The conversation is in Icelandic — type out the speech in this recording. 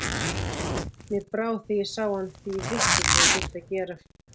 Mér brá þegar ég sá hann því ég vissi hvað ég þyrfti að gera.